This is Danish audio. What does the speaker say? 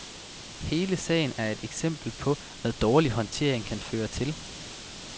Hele sagen er et eksempel på, hvad dårlig håndtering kan føre til.